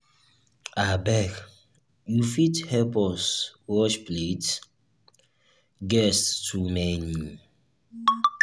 abeg you fit help us watch plate guests too many.